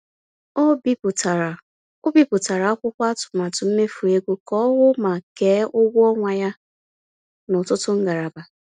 Ọ bipụtara Ọ bipụtara akwụkwọ atụmatụ mmefu ego ka ọ hụ ma kee ụgwọ ọnwa ya n’ọtụtụ ngalaba.